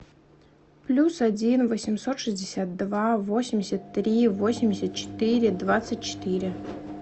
плюс один восемьсот шестьдесят два восемьдесят три восемьдесят четыре двадцать четыре